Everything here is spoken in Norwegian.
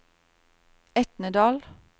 Etnedal